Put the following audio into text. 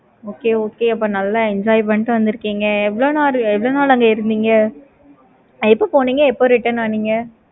okay okay அப்போ நல்ல enjoy பண்ணிக்கிட்டு வந்துருக்கீங்க. எவ்வளோ நாள்? எவ்வளோ நாள்? அங்க இருந்தீங்க. எப்ப போனீங்க எப்ப return வந்திங்க?